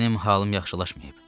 Mənim halım yaxşılaşmayıb.